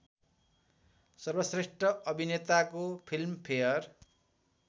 सर्वश्रेष्‍ठ अभिनेताको फिल्मफेयर